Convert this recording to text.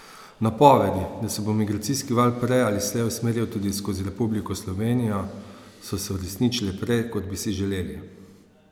Napovedi, da se bo migracijski val prej ali slej usmeril tudi skozi Republiko Slovenijo, so se uresničile prej, kot bi si želeli.